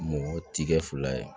Mɔgɔ ti kɛ fila ye